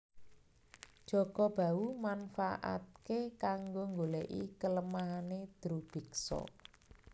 Jaka Bahu manfaatke kanggo nggoleki kelemahane Drubiksa